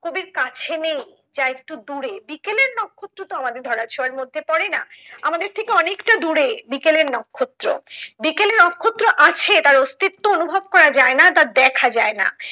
কবির কাছে নেই যা একটু দূরে বিকেলের নক্ষত্র তো আমাদের ধরা ছোঁয়ার মধ্যে পড়েনা আমাদের থেকে অনেকটা দূরে বিকেলের নক্ষত্র বিকেলের নক্ষত্র আছে তার অস্তিত্ব অনুভব করা যায় না তা দেখা যায় না